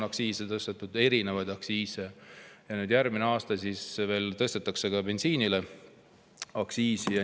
See aasta on erinevaid aktsiise tõstetud ja järgmisel aastal tõstetakse ka bensiiniaktsiisi.